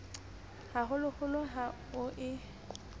ha holoholo ha ho e